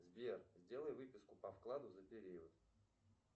сбер сделай выписку по вкладу за период